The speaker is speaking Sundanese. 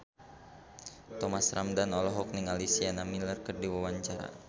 Thomas Ramdhan olohok ningali Sienna Miller keur diwawancara